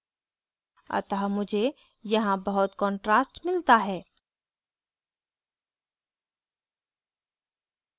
अतः मुझे यहाँ बहुत contrast मिलता है